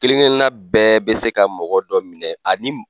Kelen kelenna bɛɛ be se ka mɔgɔ dɔ minɛ ani